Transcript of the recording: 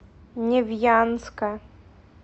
невьянска